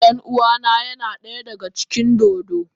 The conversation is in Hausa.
Ɗan uwana yana daya daga cikin dodo.